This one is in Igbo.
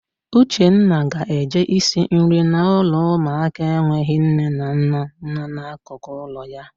Uchenna ga-eje isi nri na ụlọ ụmụaka enweghị nne na nna nọ n'akụkụ ụlọ ya.